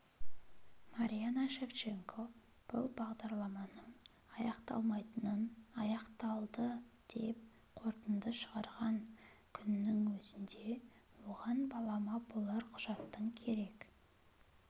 марианна шевченко бұл бағдарламаның аяқталмайтынын аяқталды деп қорытынды шығарған күннің өзінде оған балама болар құжаттың керек